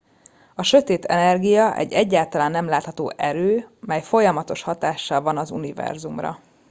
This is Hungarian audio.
a sötét energia egy egyáltalán nem látható erő mely folyamatos hatással van az univerzumra